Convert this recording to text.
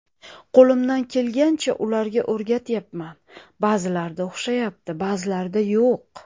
Qo‘limdan kelgancha ularga o‘rgatyapman, ba’zilarida o‘xshayapti, ba’zilarida yo‘q.